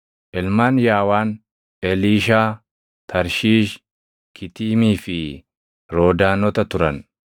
Ilmaan Yaawaan: Eliishaa, Tarshiish, Kitiimii fi Roodaanota turan.